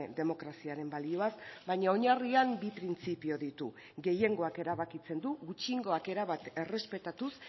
demokraziaren balioaz baina oinarrian bi printzipio ditu gehiengoak erabakitzen du gutxiengoak erabat errespetatuz